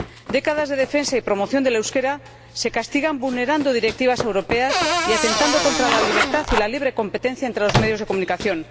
Décadas de defensa y promoción del euskera se castigan vulnerando directivas europeas y atentando contra la libertad y la libre competencia entre los medios de comunicación.